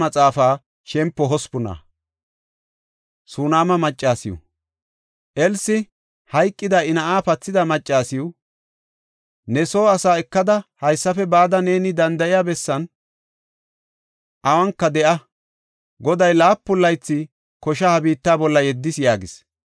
Elsi, hayqida I na7aa pathida maccasiw, “Ne soo asaa ekada haysafe bada neeni danda7iya bessan awunka de7a. Goday laapun laytha koshaa ha biitta bolla yeddis” yaagis.